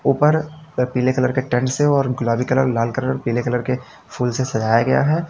ऊपर पीले कलर के टेंट से और गुलाबी कलर लाल कलर पीले कलर के फूल से सजाया गया है।